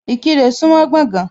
Ìkirè súńmọ́ Gbọ̀gán.